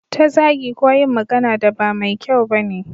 Ta zagi ko yin magana da ba mai kyau bane